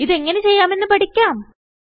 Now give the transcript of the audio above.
ഇത് എങ്ങനെ ചെയ്യാമെന്ന് പഠിക്കാം